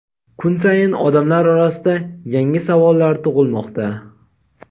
kun sayin odamlar orasida yangi savollar tug‘ilmoqda.